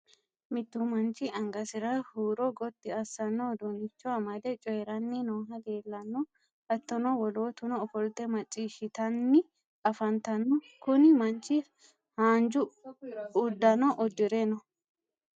mittu manchi angasira huuro gotti assanno uduunnicho amade coyiiranni nooha leelanno. hattono wolootuno ofolte macciishitanni afantanno, kuni manchi haanja uddano uddire no.